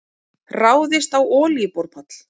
Ráðist á olíuborpall